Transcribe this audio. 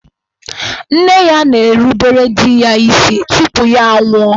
Nne ya na-erubere di ya isi tupu ya a nwụọ.